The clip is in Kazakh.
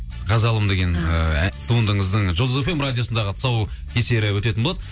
қазалым деген ә туындыңыздың жұлдыз эф эм радиосындағы тұсаукесері өтетін болады